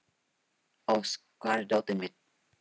Ósk, hvar er dótið mitt?